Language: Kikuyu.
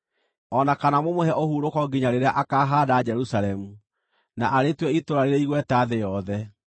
o na kana mũmũhe ũhurũko nginya rĩrĩa akahaanda Jerusalemu, na arĩtue itũũra rĩrĩ igweta thĩ yothe.